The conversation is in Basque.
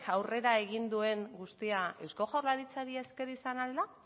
aurrera egin duen guztia eusko jaurlaritzari esker izan al da